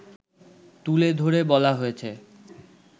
তুলে ধরে বলা হয়েছে